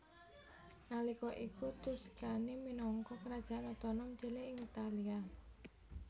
Nalika iku Tuscany minangka kerajaan otonom cilik ing Italia